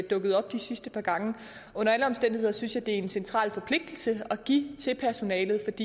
dukket op de sidste par gange under alle omstændigheder synes jeg det er en central forpligtelse at give til personalet